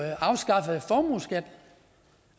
afskaffede formueskatten